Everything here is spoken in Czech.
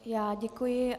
Já děkuji.